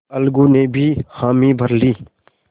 अलगू ने भी हामी भर ली